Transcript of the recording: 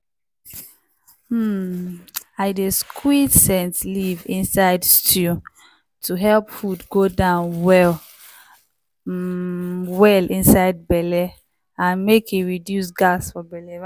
um i dey squeeze scent leave inside stew to help food go down well um well inside belle and make e reduce gas for belle.